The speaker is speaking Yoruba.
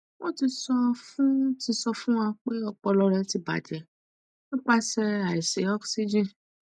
won ti so fun ti so fun wa pe opolo re ti baje nipapse aisi oxygen